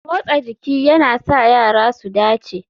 Motsa jiki yana sa yara su dace